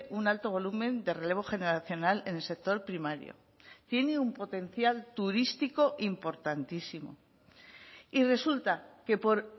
un alto volumen de relevo generacional en el sector primario tiene un potencial turístico importantísimo y resulta que por